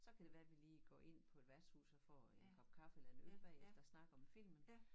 Så kan det være vi lige går ind på et værtshus og får en kop kaffe og en øl bagefter og snakker om filmen